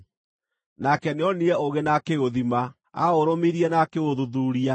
nake nĩonire ũũgĩ na akĩũthima; aũrũmirie na akĩũthuthuuria.